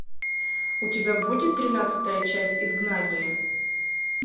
у тебя будет тринадцатая часть изгнание